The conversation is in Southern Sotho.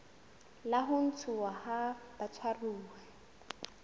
la ho ntshuwa ha batshwaruwa